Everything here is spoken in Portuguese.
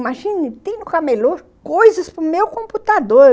Imagina, tem nunca melhor coisas para o meu computador.